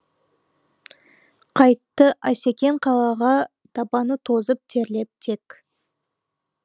қайтты асекең қалаға табаны тозып терлеп тек